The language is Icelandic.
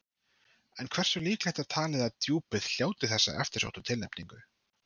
En hversu líklegt er talið að Djúpið hljóti þessa eftirsóttu tilnefningu?